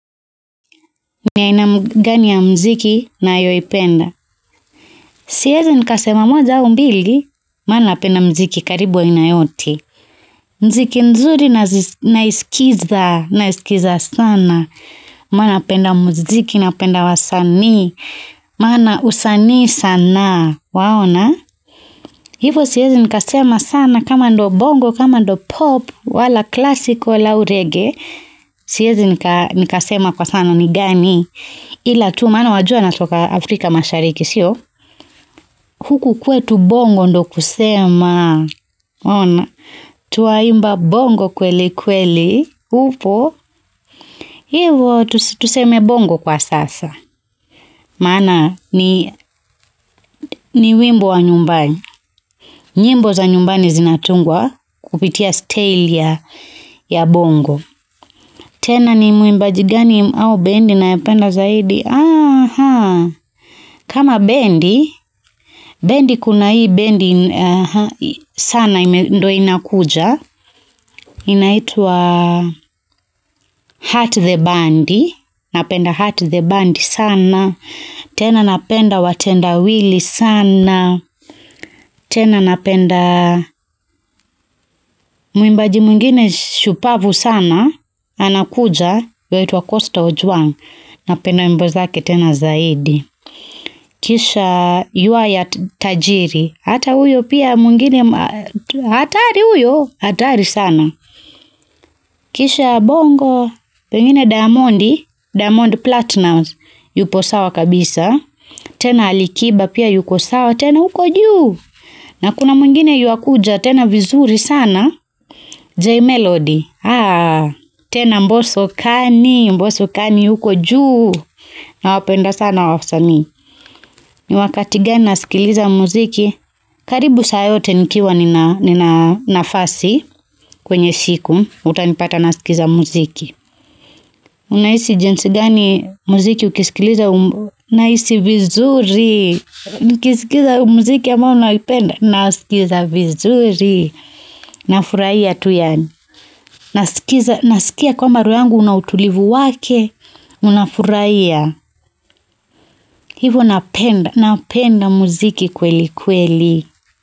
Ni aina gani ya muziki nayoipenda siezi nikasema moja au mbili maana napenda muziki karibu wa aina yote muziki mzuri naisikiza naiskiza sana maana napenda muziki napenda wasanii maana usanii sanaa waona hivo siezi nikasema sana kama ndo bongo kama ndo pop wala classic wala au reggae siezi nikasema kwa sana ni gani ila tu maana wajua natoka Africa mashariki siyo huku kwetu bongo ndiyo kusema waona twaimba bongo kweli kweli upo, hivo tuseme bongo kwa sasa, maana ni wimbo wa nyumbani, nyimbo za nyumbani zinatungwa kupitia staili ya bongo. Tena ni muimbaji gani au bendi nayopenda zaidi? Aha. Kama bendi, bendi kuna hii bendi sana ndo inakuja. Inaitwa heart the band. Napenda heart the band sana. Tena napenda watendawilli sana. Tena napenda muimbaji mwingine shupavu sana. Anakuja yuaitwa Costa Ojuang. Napenda wimbo zake tena zaidi. Kisha yua ya tajiri. Hata huyo pia mwingine hatari huyo. Hatari sana. Kisha bongo. Pengine diamondi. Diamond platinum. Yupo sawa kabisa. Tena alikiba pia yuko sawa. Tena huko juu. Na kuna mwingine yuakuja. Tena vizuri sana. J Melody. Tena mbosso kani. Mboso kani yuko juu. Nawapenda sana wasanii. Ni wakati gani nasikiliza muziki. Karibu saa yote nikiwa nina nafasi kwenye siku. Utanipata nasikiliza muziki. Unahisi jinsi gani muziki ukisikiliza. Nahisi vizuri. Nikisikiza muziki ambao naupenda. Nasikiza vizuri. Nafurahia tu yaani. Nasikia kwamba roho yangu una utulivu wake. Unafurahia. Hivo napenda napenda muziki kweli kweli.